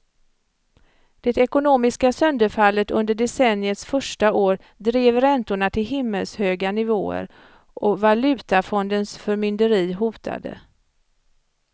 Det ekonomiska sönderfallet under decenniets första år drev räntorna till himmelshöga nivåer och valutafondens förmynderi hotade.